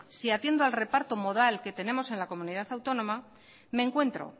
si atiendo al reparto modal que tenemos en la comunidad autónoma me encuentro